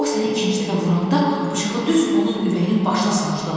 o səni ikinci dəfə vuranda bıçağı düz onun ürəyinin başına sancdın.